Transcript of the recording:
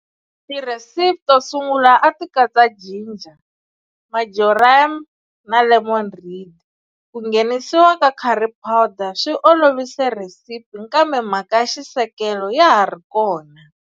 Ti recipe tosungula ati katsa ginger, marjoram na lemon rind, ku nghenisiwa ka curry powder swi olovise recipe kambe mhaka ya xisekelo ya ha ri yona.